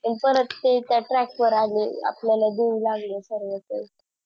आणि परत ते Track वर आले आपल्याला देऊ लागले सर्व ते